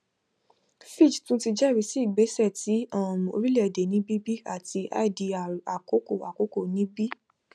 fitch tun ti jẹrisi igbesẹ ti um orilẹede ni bb ati idr akokoakoko ni b